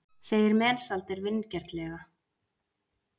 segir Mensalder vingjarnlega.